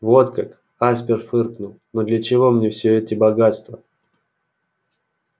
вот как аспер фыркнул но для чего мне все эти богатства